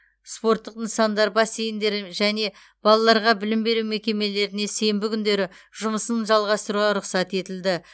спорттық нысандар бассейндер және балаларға білім беру мекемелеріне сенбі күндері жұмысын жалғастыруға рұқсат етілді